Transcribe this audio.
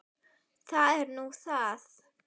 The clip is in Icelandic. Það er nú það.